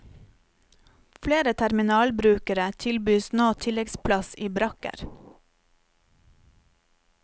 Flere terminalbrukere tilbys nå tilleggsplass i brakker.